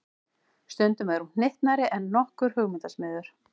Stundum er hún hnyttnari en nokkur hugmyndasmiður.